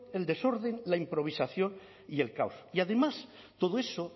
el desorden la improvisación y el caos y además todo eso